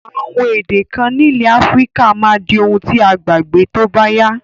Àwon èdè kan nílẹ̀ Africa máa di oun ti a gbàgbé tóbáyá